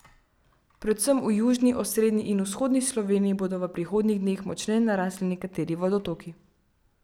Predvsem v južni, osrednji in vzhodni Sloveniji bodo v prihodnjih dneh močneje narasli nekateri vodotoki.